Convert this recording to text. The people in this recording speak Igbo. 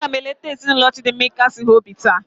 A ga m eleta ezinụlọ Chidinma ịkasie ha obi taa.